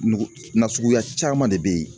nasuguya caman de bɛ yen